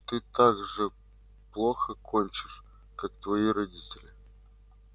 ты так же плохо кончишь как твои родители